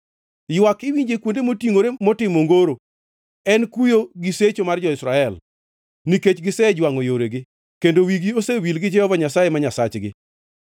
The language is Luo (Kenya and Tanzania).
Ywak iwinjo e kuonde motingʼore motimo ongoro, en kuyo gi secho mar jo-Israel, nikech gisejwangʼo yoregi, kendo wigi osewil gi Jehova Nyasaye ma Nyasachgi.